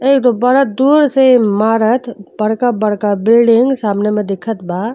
एक तो बड़ा दूर से इमारत बड़का बड़का बिल्डिंग सामने में दिखत बा।